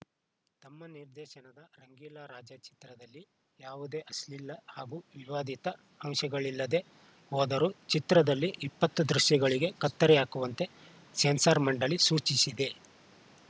ತಮ್ಮ ನಿರ್ದೇಶನದ ರಂಗೀಲಾ ರಾಜಾ ಚಿತ್ರದಲ್ಲಿ ಯಾವುದೇ ಅಶ್ಲೀಲ ಹಾಗೂ ವಿವಾದಿತ ಅಂಶಗಳಿಲ್ಲದೇ ಹೋದರೂ ಚಿತ್ರದಲ್ಲಿ ಇಪ್ಪತ್ತು ದೃಶ್ಯಗಳಿಗೆ ಕತ್ತರಿ ಹಾಕುವಂತೆ ಸೆನ್ಸಾರ ಮಂಡಳಿ ಸೂಚಿಸಿದೆ